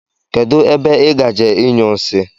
Kedụ ebe ị gaje inyụ nsị?